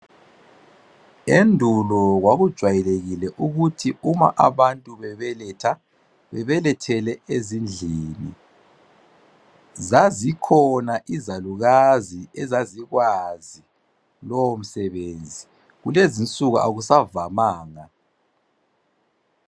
Endulo kwakujwayelekile ukuthi uma abantu bebeletha bebelethele ezindlini , zazikhona izalukazi ezazikwazi lowo msebenzi kulezinsuku akusavamanga.